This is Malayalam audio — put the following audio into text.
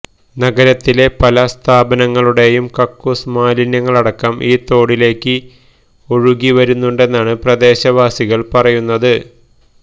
നഗരത്തിലെ പല സ്ഥാപനങ്ങളുടെയും കക്കൂസ് മാലിന്യങ്ങളടക്കം ഈ തോടിലേക്ക് ഒഴുകുി വരുന്നുണ്ടെന്നാണ് പ്രദേശവാസികള് പറയുന്നത്